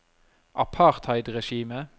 apartheidregimet